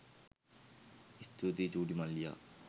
ස්තුතියි චුටි මල්ලියා